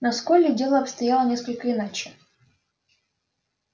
но с колли дело обстояло несколько иначе